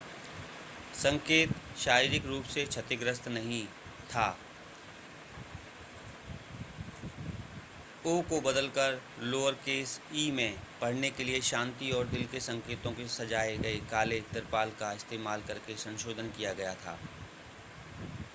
संकेत शारीरिक रूप से क्षतिग्रस्त नहीं था o को बदलकर लोअरकेस e में पढ़ने के लिए शांति और दिल के संकेतों के साथ सजाए गए काले तिरपाल का इस्तेमाल करके संशोधन किया गया था